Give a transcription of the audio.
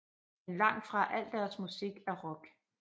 Men langt fra al deres musik er rock